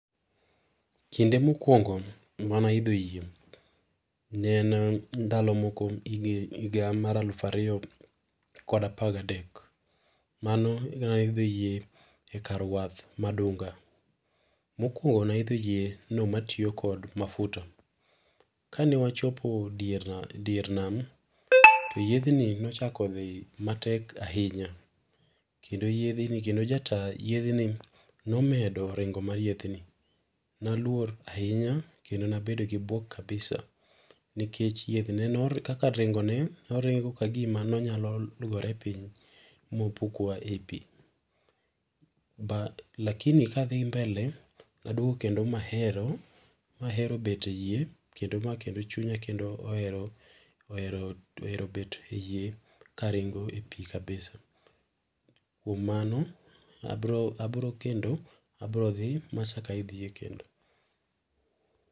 Kinde mokuongo mane aidho yie ,ne en ndalo moko higa mar alufu ariyo kod apar gadek, mano kana idho yie e kar wath ma Dunga, mokuongo naidho yieno matiyo kod mafuta, kane wachopo dier nam, to yiethni nochako dhi matek ahinya kendo jataa yiedhni nomedore ringo mar yiedhni, naluor kendo nabedo gi buok kabisa nikech kaka ringone ne oringo ka gima onyalo gore piny ma opuk wa e pii, but lakini kadhi mbele naduogo kendo ma ahero, mahero bet e yie machunya kendo ohero bet e yie karingo epii kabisa, kuom mano abro [R]abro[R] kendo abiro dhi ma achak aidh yie kendo.